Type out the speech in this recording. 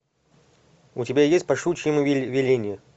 у тебя есть по щучьему велению